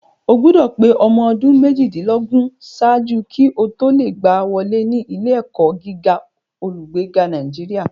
O gbọdọ̀ pé ọmọ ọdún méjìdínlógún ṣáájú kí o tó lè gbá wọlé ní ilé-ẹ̀kọ́ gíga olùgbèjà Nàìjíríà